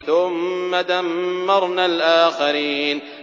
ثُمَّ دَمَّرْنَا الْآخَرِينَ